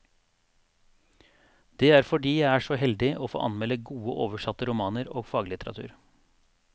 Det er fordi jeg er så heldig å få anmelde gode oversatte romaner og faglitteratur.